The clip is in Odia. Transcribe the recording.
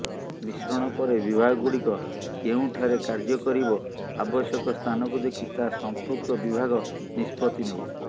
ମିଶ୍ରଣ ପରେ ବିଭାଗ ଗୁଡିକ କେଉଁଠାରେ କାର୍ଯ୍ୟକାରିବ ଆବଶ୍ୟକ ସ୍ଥାନକୁ ଦେଖି ତାହା ସମ୍ପୃକ୍ତ ବିଭାଗ ନିଷ୍ପତ୍ତି ନେବ